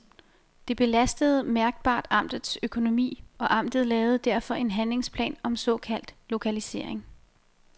Det belastede mærkbart amtets økonomi, og amtet lavede derfor en handlingsplan om såkaldt lokalisering.